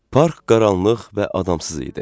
Park qaranlıq və adamsız idi.